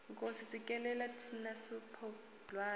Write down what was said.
nkosi sikelela thina lusapho lwayo